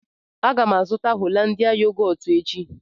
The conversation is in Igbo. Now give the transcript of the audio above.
Aga m azụta Hollandia yogọọtu echi